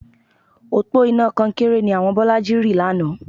Òpó iná kọnkéré ni àwọn Bọ́lájí rì lánàá